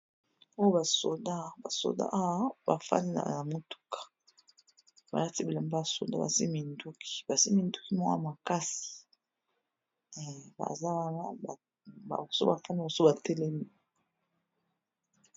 Oyo ba soldats ba fandi na motuka ba lati bilamba ya soldats, ba simbi minduki mwoko ya makasi, baza wana basusu ba fandi, basusu ba telemi .